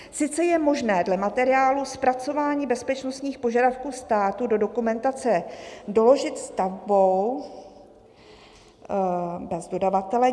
"Sice je možné dle materiálu Zapracování bezpečnostních požadavků státu do dokumentace doložit stavbou bez dodavatele.